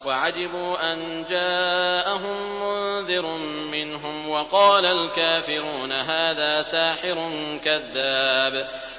وَعَجِبُوا أَن جَاءَهُم مُّنذِرٌ مِّنْهُمْ ۖ وَقَالَ الْكَافِرُونَ هَٰذَا سَاحِرٌ كَذَّابٌ